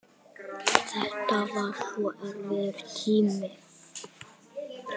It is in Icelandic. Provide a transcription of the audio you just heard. Þetta var svo erfiður tími.